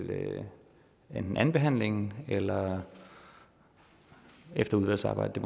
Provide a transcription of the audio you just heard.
enten andenbehandlingen eller efter udvalgsarbejdet